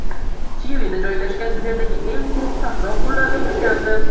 Chilida joylashgan dunyodagi eng quruq sahro gullarga burkandi.